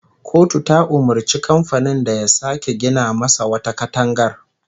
Kotu ta umurci kamfanin da ya sake gina masa wata katangar